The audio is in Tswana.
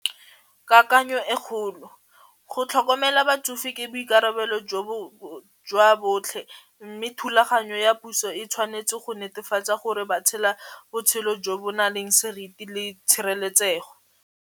Kakanyo e kgolo go tlhokomela batsofe ke boikarabelo jwa botlhe mme thulaganyo ya puso e tshwanetse go netefatsa gore ba tshela botshelo jo bo na leng seriti le tshireletsego.